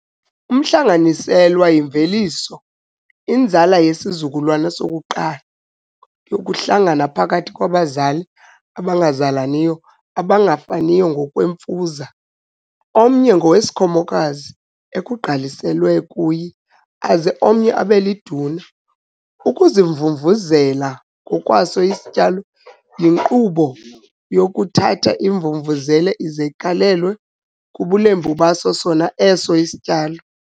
Umhlanganiselwa yimveliso, inzalo yesizukulwana sokuqala, yokuhlangana phakathi kwabazali abangazalaniyo, abangafaniyo ngokwemfuza, omnye ngowesikhomokazi ekugqaliselwe kuye aze omnye abe liduna. Ukuzimvumvuzela ngokwaso isityalo yinkqubo yokuthatha imvumvuzela ize igalelwe kubulembu baso sona eso sityalo.